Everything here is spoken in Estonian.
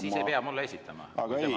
Siis ei pea mulle esitama, kui on temale.